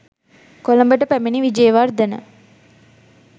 කොළඹට පැමිණි විජේවර්ධන